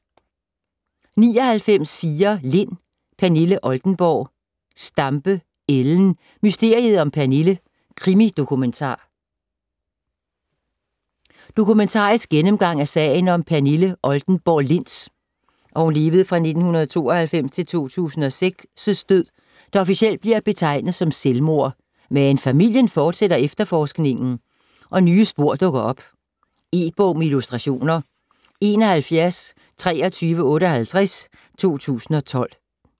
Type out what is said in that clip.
99.4 Lind, Pernille Oldenborg Stampe, Ellen: Mysteriet om Pernille: krimi-dokumentar Dokumentarisk gennemgang af sagen om Pernille Oldenborg Linds (1992-2006) død, der officielt bliver betegnet som selvmord. Men familien fortsætter efterforskningen og nye spor dukker op. E-bog med illustrationer 712358 2012.